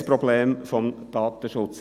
Ich sehe das Problem des Datenschutzes.